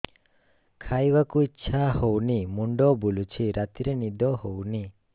ଖାଇବାକୁ ଇଛା ହଉନି ମୁଣ୍ଡ ବୁଲୁଚି ରାତିରେ ନିଦ ହଉନି